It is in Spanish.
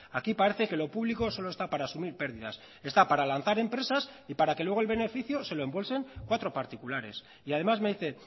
aquí parece que lo público solo está para asumir pérdidas está para lanzar empresas y para que luego el beneficio se lo embolsen cuatro particulares y además me dice